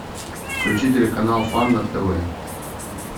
включи телеканал фан на тв